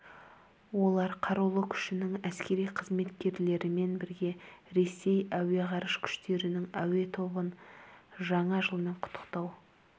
олар қарулы күшінің әскери қызметкерлерімен бірге ресей әуе ғарыш күштерінің әуе тобын жаңа жылмен құттықтау